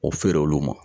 O feere olu ma